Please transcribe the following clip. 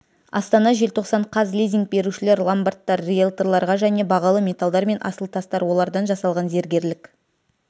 астана желтоқсан қаз лизинг берушілер ломбардтар риэлторларға және бағалы металдар мен асыл тастар олардан жасалған зергерлік